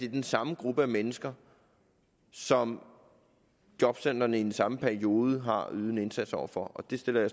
den samme gruppe af mennesker som jobcentrene i den samme periode har ydet en indsats over for og det sætter